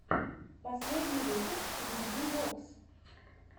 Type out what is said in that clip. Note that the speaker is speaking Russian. последний выпуск видии вокс